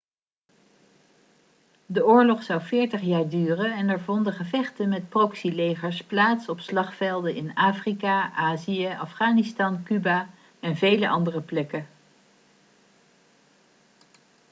de oorlog zou 40 jaar duren en er vonden gevechten met proxylegers plaats op slagvelden in afrika azië afghanistan cuba en vele andere plekken